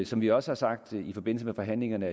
som vi også har sagt i forbindelse med forhandlingerne